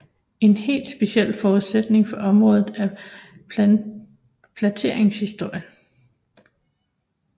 En helt speciel forudsætning for området er plantningshistorien